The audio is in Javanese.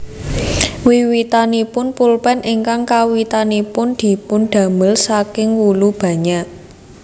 Wiwitanipun pulpen ingkang kawitanipun dipun damel saking wulu banyak